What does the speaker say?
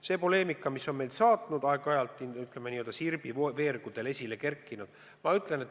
See poleemika on meid ikka saatnud, aeg-ajalt on see ka Sirbi veergudel üles kerkinud.